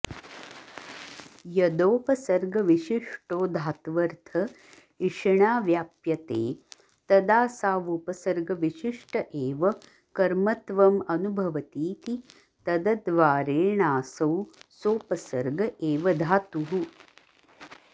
यदोपसर्गविशिष्टो धात्वर्थ इषिणा व्याप्यते तदासावुपसर्गविशिष्ट एव कर्मत्वमनुभवतीति तदद्वारेणासौ सोपसर्ग एव धातुः